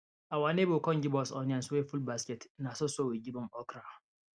awa neighbor come give us onions wey full basket na so so we give am okra